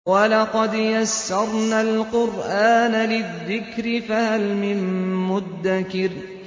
وَلَقَدْ يَسَّرْنَا الْقُرْآنَ لِلذِّكْرِ فَهَلْ مِن مُّدَّكِرٍ